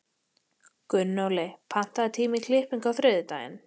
Gunnóli, pantaðu tíma í klippingu á þriðjudaginn.